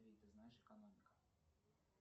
ты знаешь экономика